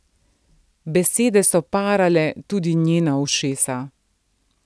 Besede so parale tudi njena ušesa.